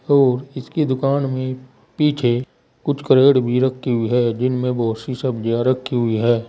और इसकी दुकान में पीछे कुछ कैरेट भी रखी हुई है जिनमें बहुत सी सब्जियां रखी हुई है।